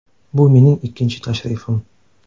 Bu mening ikkinchi tashrifim.